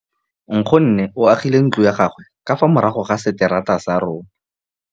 Nkgonne o agile ntlo ya gagwe ka fa morago ga seterata sa rona.